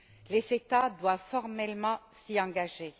Les États doivent formellement s'y engager.